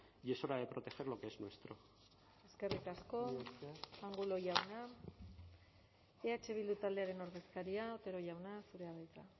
y es hora de proteger lo que es nuestro eskerrik asko angulo jauna eh bildu taldearen ordezkaria otero jauna zurea da hitza